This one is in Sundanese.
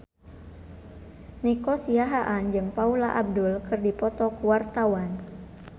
Nico Siahaan jeung Paula Abdul keur dipoto ku wartawan